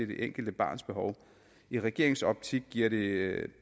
det enkelte barns behov i regeringens optik giver det